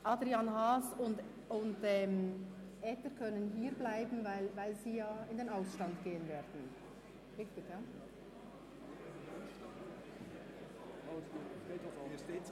Adrian Haas und Jakob Etter können hierbleiben, da sie ja in den Ausstand gehen werden.